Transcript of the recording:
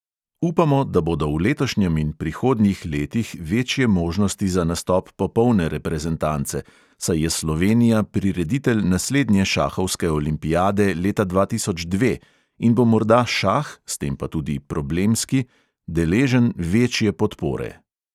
Upamo, da bodo v letošnjem in prihodnjih letih večje možnosti za nastop popolne reprezentance, saj je slovenija prireditelj naslednje šahovske olimpijade leta dva tisoč dve in bo morda šah, s tem pa tudi problemski, deležen večje podpore.